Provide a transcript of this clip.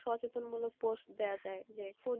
সচেতনমূলক post দেওয়া যায় যে কোন,